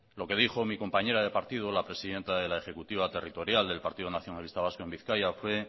lo que dijo mi compañera de partido la presidenta de la ejecutiva territorial del partido nacionalista vasco en bizkaia fue